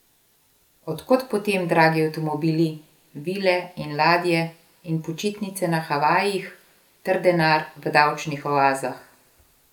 Od kod potem dragi avtomobili, vile in ladje in počitnice na Havajih ter denar v davčnih oazah?